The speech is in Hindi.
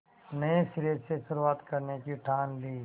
नए सिरे से शुरुआत करने की ठान ली